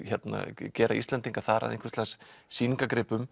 gera Íslendinga þar að einhvers lags